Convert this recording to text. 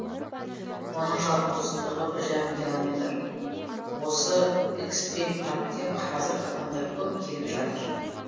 оның жалпы ұзындығы бір жарым километр осы экстрим паркке қазір адамдар көп келіп жатыр